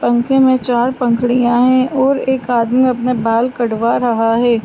पंखे में चार पंखुड़ियाँ है और एक आदमी अपने बाल कटवा रहा है।